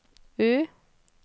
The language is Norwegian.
U